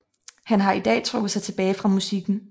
Han har i dag trukket sig tilbage fra musikken